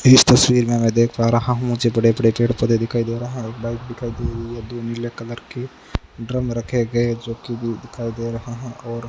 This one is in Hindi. इस तस्वीर में मैं देख पा रहा हूं मुझे बड़े बड़े पेड़ पौधे दिखाई दे रहा है और बाइक दिखाई दे रही है दो नीले कलर के ड्रम रखे गए जो कि व्यू दिखाई दे रहा और --